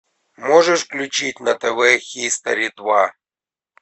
можешь включить на тв хистори два